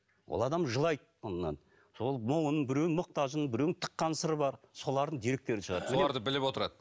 ол адам жылайды мұңнан сол мұңын біреуінің мұқтажын біреуінің тыққан сыры бар солардың деректерін шығарады соларды біліп отырады